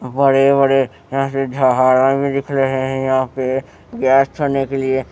बड़े-बड़े यहाँ पे झाड़ा भी दिख रहे हैं यहां पे गैस छोड़ने के लिए--